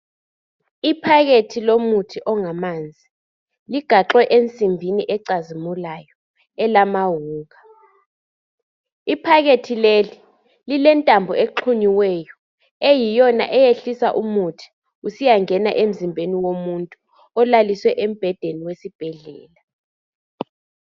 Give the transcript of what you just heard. Iphakethi lomuthi ongamanzi ligaxhwe ensimbini ecazimulayo elamahuka iphakethi leli lilentambo exhunyiweyo eyiyona eyehlisa umuthi usiyangena emzimbeni womuntu olaliswe embhedeni wesibhedlela.